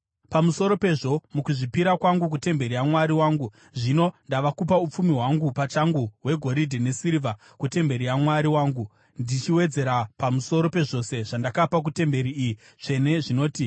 Pamusoro pezvo mukuzvipira kwangu kutemberi yaMwari wangu zvino ndava kupa upfumi hwangu pachangu hwegoridhe nesirivha kutemberi yaMwari wangu, ndichiwedzera pamusoro pezvose zvandakapa kutemberi iyi tsvene zvinoti: